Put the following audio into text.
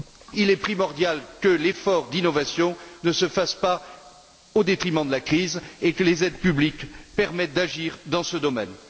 Il est primordial que l'effort d'innovation ne se fasse pas au détriment de la crise et que les aides publiques permettent d'agir dans ce domaine.